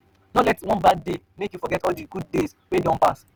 no let one bad day make you forget all di good days wey don pass.